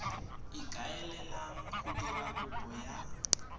ikaelelang go dira kopo ya